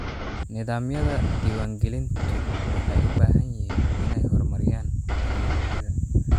Nidaamyada diiwaangelintu waxay u baahan yihiin inay horumariyaan tignoolajiyada.